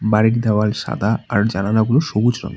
বাড়িটির দেওয়াল সাদা আর জানালাগুলো সবুজ রঙের।